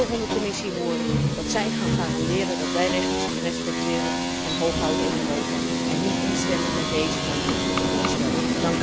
Ik wil van de Commissie horen dat zij gaan garanderen dat wij rechten respecteren en hoog houden in Europa en niet instemmen met deze hardvochtige voorstellen.